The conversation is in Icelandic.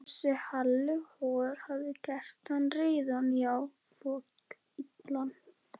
Þessi Halli hor hafði gert hann reiðan, já, fokillan.